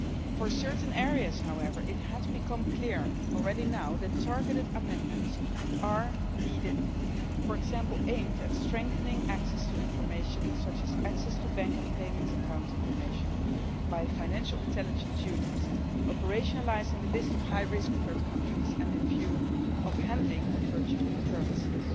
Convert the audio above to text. For certain areas, however, it has already become clear that targeted amendments are needed, for example aimed at strengthening access to information such as access to bank and payments account information by financial intelligence units, operationalising the list of high risk third countries, and in view of the handling of virtual currencies.